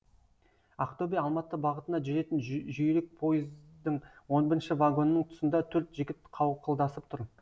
ақтөбе алматы бағытына жүретін жүйрік пойыздың он бірінші вагонының тұсында төрт жігіт қауқылдасып тұр